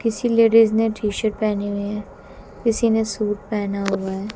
किसी लेडिस ने टी_शर्ट पहनी हुई है। किसी ने सूट पहना हुआ है।